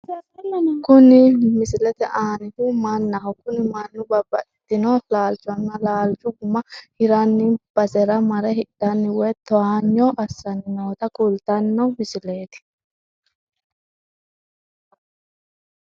Kuni misilete aanihu mannaho kuni mannu babbaxino laalchonna laalchu guma hirranni basera mare hidhanni woy towaanyo assanni noota kultanno misileeti.